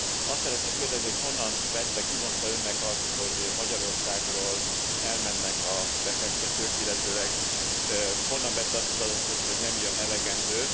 Azt szeretném kérdezni, hogy honnan vette, ki mondta Önnek azt, hogy Magyarországról elmennek a befektetők, illetőleg honnan vette azt az adatot, hogy nem jön elegendő?